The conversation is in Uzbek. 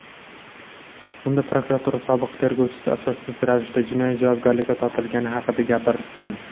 Unda prokuratura sobiq tergovchisi asossiz ravishda jinoiy javobgarlikka tortilgani haqida gapirgan.